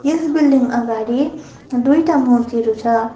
यस building अगाडि दुईटा मूर्तिहरु छ।